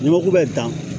N'i mako bɛ dan